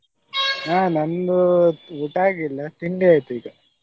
ಆ ನಂದು ಊಟ ಆಗಿಲ್ಲ ತಿಂಡಿ ಆಯ್ತು ಈಗ.